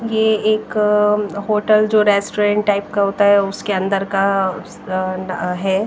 ये एक होटल जो रेस्टोरेंट टाइप का होता है उसके अंदर का अश आन है।